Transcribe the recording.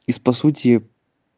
из по сути